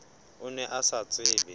o ne o sa tsebe